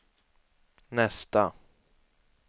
nästa